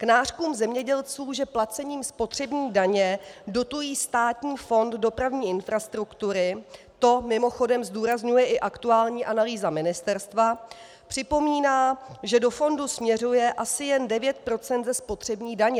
K nářkům zemědělců, že placením spotřební daně dotují Státní fond dopravní infrastruktury, to mimochodem zdůrazňuje i aktuální analýza ministerstva, připomíná, že do fondu směřuje asi jen 9 % ze spotřební daně.